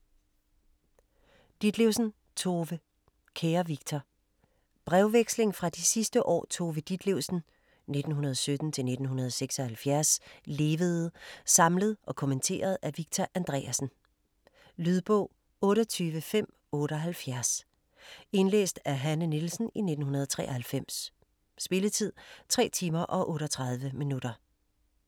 Ditlevsen, Tove: Kære Victor Brevveksling fra de sidste år Tove Ditlevsen (1917-1976) levede, samlet og kommenteret af Victor Andreasen. Lydbog 28578 Indlæst af Hanne Nielsen, 1993. Spilletid: 3 timer, 38 minutter.